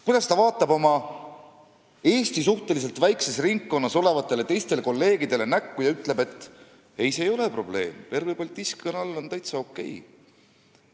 Kuidas ta vaatab oma suhteliselt väikesele ringkonnale, Eesti kolleegidele näkku ja ütleb, et ei, see ei ole probleem, Pervõi Baltiiski Kanal on täitsa okei?